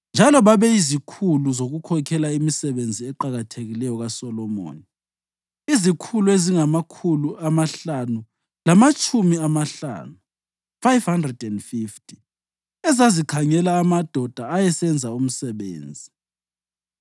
Njalo babeyizikhulu zokukhokhela imisebenzi eqakathekileyo kaSolomoni, izikhulu ezingamakhulu amahlanu lamatshumi amahlanu (550) ezazikhangela amadoda ayesenza umsebenzi.